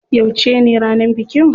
Yauce ne ranar bikin?